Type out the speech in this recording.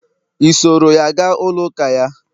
i soro ya ga ụlọ uka ya?